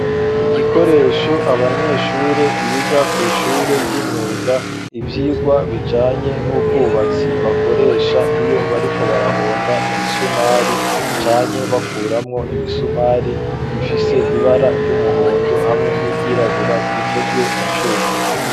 Igikoresho, abanyeshure biga kw'ishure ry'imyuga, ivyigwa bijanye n'ubwubatsi, bakoresha, iyo bariko barahonda, imisumari, canke bakuramwo, imisumari; gifise ibara ry'umuhondo, hamwe n'iryirabura; gikozwe mu cuma.